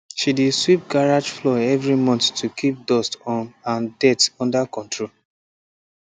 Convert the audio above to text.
she dey sweep garage floor every month to keep dust um and dirt under control